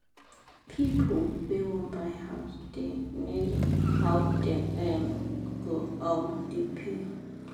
pipu wey wan buy house da nego how dem um go um da pay